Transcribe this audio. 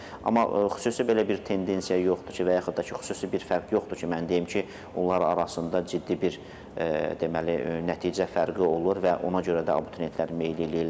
Amma xüsusi belə bir tendensiya yoxdur ki, və yaxud da ki, xüsusi bir fərq yoxdur ki, mən deyim ki, onlar arasında ciddi bir deməli nəticə fərqi olur və ona görə də abituriyentlər meyilli eləyirlər.